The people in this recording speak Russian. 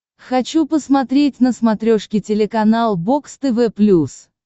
хочу посмотреть на смотрешке телеканал бокс тв плюс